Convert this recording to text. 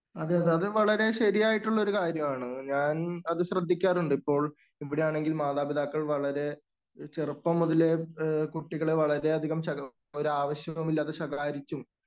അത്, അത് വളരെ ശരിയായിട്ടുള്ള ഒരു കാര്യമാണ്. ഞാൻ അത് ശ്രദ്ധിക്കാറുണ്ട്? ഇപ്പോൾ ഇവിടെയാണെങ്കിൽ മാതാപിതാക്കൾ വളരെ ചെറുപ്പം മുതലേ കുട്ടികളെ വളരെയധികം ശകാ ഒരാവശ്യവുമില്ലാതെ ശകാരിക്കും,